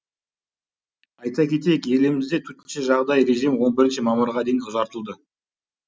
айта кетейік елімізде төтенше жағдай режимі он бірінші мамырға дейін ұзартылды